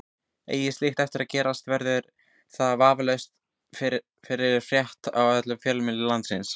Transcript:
Eigi slíkt eftir að gerast verður það vafalaust fyrsta frétt hjá öllum fjölmiðlum landsins.